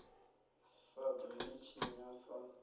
sa ḓo ḽi tshinya sa